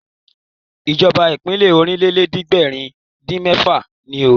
ìjọba ìbílẹ̀ Ọ̀rìnlélẹ̀ẹ́dẹ́gbèrin-dín-mẹ́fà ni ó